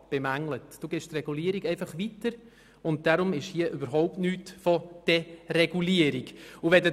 Sie geben die Regulierung einfach weiter und deshalb kann man hier überhaupt nicht von Deregulierung sprechen.